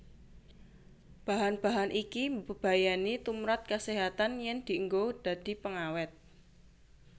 Bahan bahan iki mbebayani tumprap kaséhatan yén dienggo dadi pengawét